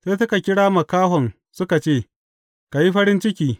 Sai suka kira makahon suka ce, Ka yi farin ciki!